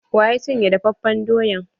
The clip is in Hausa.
Waya cin ye dafafen doyan?